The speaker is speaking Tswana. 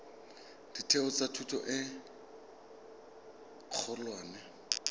ditheo tsa thuto e kgolwane